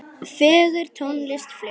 Fögur tónlist flutt.